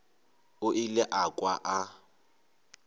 o ile a kwa a